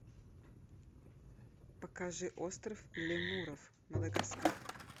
покажи остров лемуров мадагаскар